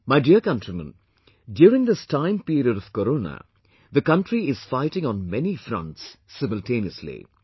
My dear countrymen, during this time period of Corona, the country is fighting on many fronts simultaneously